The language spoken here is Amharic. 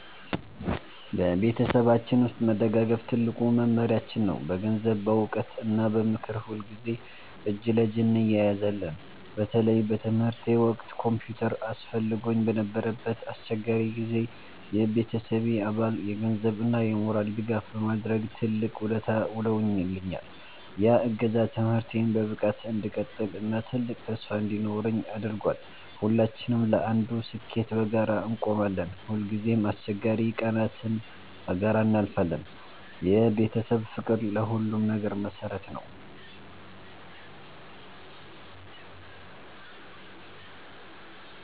በቤተሰባችን ውስጥ መደጋገፍ ትልቁ መመሪያችን ነው። በገንዘብ፣ በዕውቀት እና በምክር ሁልጊዜ እጅ ለእጅ እንያያዛለን። በተለይ በትምህርቴ ወቅት ኮምፒውተር አስፈልጎኝ በነበረበት አስቸጋሪ ጊዜ፣ የቤተሰቤ አባል የገንዘብ እና የሞራል ድጋፍ በማድረግ ትልቅ ውለታ ውሎልኛል። ያ እገዛ ትምህርቴን በብቃት እንድቀጥል እና ትልቅ ተስፋ እንዲኖረኝ አድርጓል። ሁላችንም ለአንዱ ስኬት በጋራ እንቆማለን። ሁልጊዜም አስቸጋሪ ቀናትን በጋራ እናልፋለን። የቤተሰብ ፍቅር ለሁሉም ነገር መሰረት ነው።